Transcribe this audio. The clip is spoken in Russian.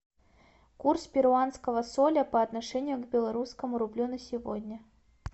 курс перуанского соля по отношению к белорусскому рублю на сегодня